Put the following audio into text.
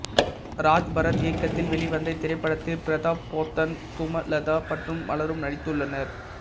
ராஜ்பரத் இயக்கத்தில் வெளிவந்த இத்திரைப்படத்தில் பிரதாப் போத்தன் சுமலதா மற்றும் பலரும் நடித்துள்ளனர்